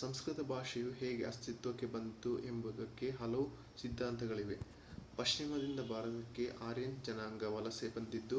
ಸಂಸ್ಕೃತ ಭಾಷೆಯು ಹೇಗೆ ಅಸ್ತಿತ್ವಕ್ಕೆ ಬಂದಿತು ಎಂಬುದಕ್ಕೆ ಹಲವು ಸಿದ್ಧಾಂತಗಳಿವೆ ಪಶ್ಚಿಮದಿಂದ ಭಾರತಕ್ಕೆ ಆರ್ಯನ್ ಜನಾಂಗ ವಲಸೆ ಬಂದಿದ್ದು